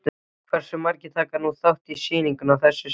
Hversu margir taka nú þátt í sýningunni að þessu sinni?